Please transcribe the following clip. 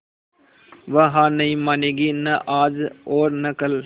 वह हार नहीं मानेगी न आज और न कल